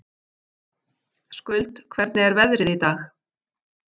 Skuld, hvernig er veðrið í dag?